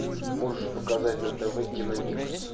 можешь показать на тв киномикс